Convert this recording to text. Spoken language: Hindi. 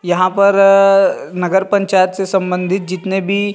यहाँ पर नगर पंचायत से संबंधित जितने भी --